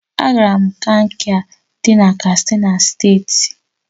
Agara m Kankia di na Katsina State